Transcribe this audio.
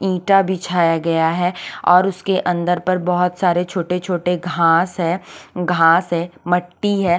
ईटा बिछाया गया है और उसके अंदर पर बहोत सारे छोटे छोटे घास है घास है मट्टी है।